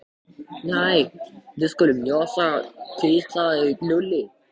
Nei, við skulum njósna hvíslaði Lúlli.